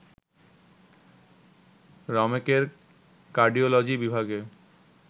রমেকের cardiology বিভাগে